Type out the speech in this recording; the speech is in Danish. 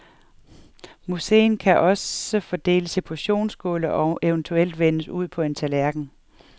Moussen kan også fordeles i portionsskåle og eventuelt vendes ud på en tallerken.